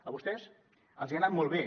a vostès els ha anat molt bé